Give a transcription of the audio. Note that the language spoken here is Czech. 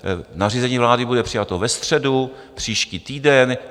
Nařízení vlády bude přijato ve středu příští týden.